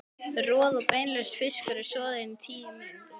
Roð- og beinlaus fiskur er soðinn í tíu mínútur.